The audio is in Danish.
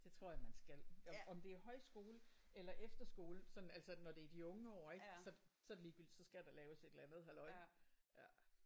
Det tror jeg man skal. Om om det er højskole eller efterskole sådan altså når det er i de unge år ik? Så så er det lige gyldigt. Så skal der laves et eller andet halløj ja